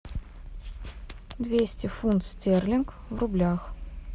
двести фунт стерлинг в рублях